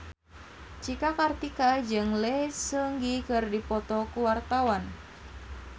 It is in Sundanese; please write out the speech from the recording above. Cika Kartika jeung Lee Seung Gi keur dipoto ku wartawan